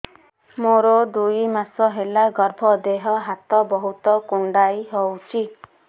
ମୋର ଦୁଇ ମାସ ହେଲା ଗର୍ଭ ଦେହ ହାତ ବହୁତ କୁଣ୍ଡାଇ ହଉଚି